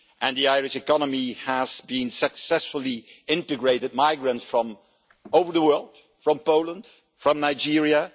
The Irish economy has successfully integrated migrants from all over the world from Poland, from Nigeria.